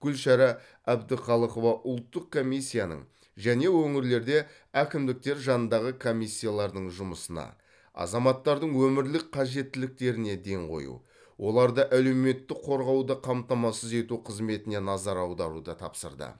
гүлшара әбдіқалықова ұлттық комиссияның және өңірлерде әкімдіктер жанындағы комиссиялардың жұмысына азаматтардың өмірлік қажеттіліктеріне ден қою оларды әлеуметтік қорғауды қамтамасыз ету қызметіне назар аударуды тапсырды